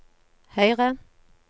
høyre